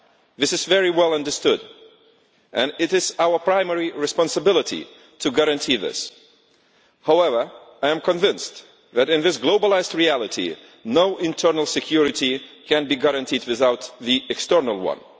This is very well understood, and it is our primary responsibility to guarantee it. However, I am convinced that, in this globalised reality, no internal security can be guaranteed without the external one.